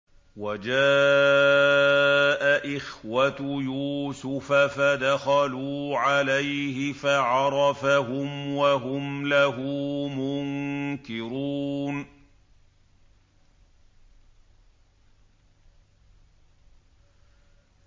وَجَاءَ إِخْوَةُ يُوسُفَ فَدَخَلُوا عَلَيْهِ فَعَرَفَهُمْ وَهُمْ لَهُ مُنكِرُونَ